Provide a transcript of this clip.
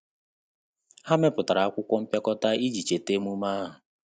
Há mèpụ̀tárà ákwụ́kwọ́ mpịakọta iji chètá ememe ahụ.